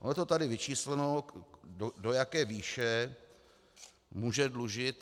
Ono je to tady vyčísleno, do jaké výše může dlužit.